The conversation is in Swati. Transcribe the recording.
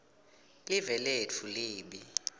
live letfu libe